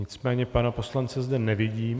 Nicméně pana poslance zde nevidím.